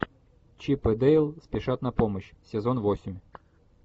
чип и дейл спешат на помощь сезон восемь